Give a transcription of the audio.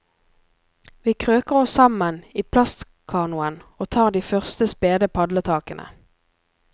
Vi krøker oss sammen i plastkanoen og tar de første spede padletakene.